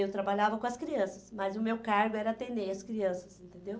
Eu trabalhava com as crianças, mas o meu cargo era atender as crianças, entendeu?